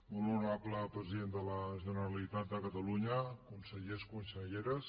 molt honorable president de la generalitat de catalunya consellers conselleres